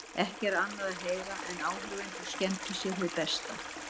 Ekki er annað að heyra en áhorfendur skemmti sér hið besta.